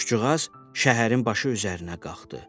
Quşcuğaz şəhərin başı üzərinə qalxdı.